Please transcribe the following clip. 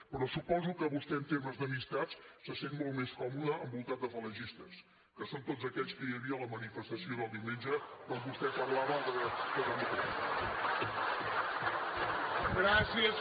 però suposo que vostè en temes d’amistats se sent molt més còmode envoltat de falangistes que són tots aquells que hi havia a la manifestació del diumenge quan vostè parlava de democràcia